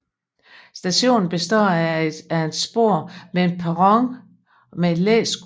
Stationen består af et spor med en perron med et læskur